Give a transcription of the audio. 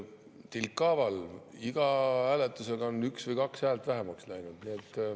Tilkhaaval, iga hääletusega on üks või kaks häält vähemaks läinud.